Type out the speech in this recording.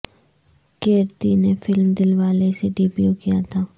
کیرتی نے film Dilwale سے debut کیا تھا